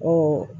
Ko